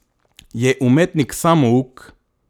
Je umetnik samouk.